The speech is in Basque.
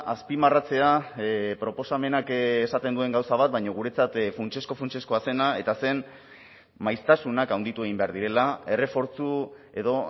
azpimarratzea proposamenak esaten duen gauza bat baina guretzat funtsezko funtsezkoa zena eta zen maiztasunak handitu egin behar direla errefortzu edo